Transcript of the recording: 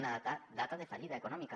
una data de fallida econòmica